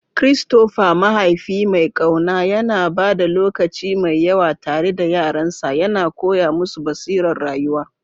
Christopher, mahaifi mai ƙauna, yana ba da lokaci mai yawa tare da yaransa, yana koya musu basirar rayuwa.